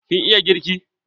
Kin iya girki?